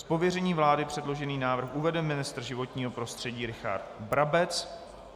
Z pověření vlády předložený návrh uvede ministr životního prostředí Richard Brabec.